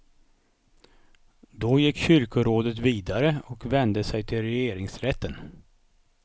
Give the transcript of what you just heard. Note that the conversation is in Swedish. Då gick kyrkorådet vidare och vände sig till regeringsrätten.